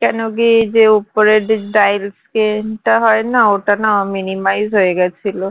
কেন কি যে ওপরের যে dial screen টা হয় না ওটা না minimise হয়ে গেছিলো